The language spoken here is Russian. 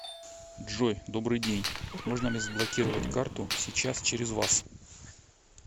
джой добрый день можно ли заблокировать карту сейчас через вас